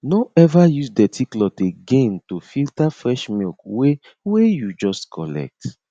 no ever use dirty cloth again to filter fresh milk wey wey you just collect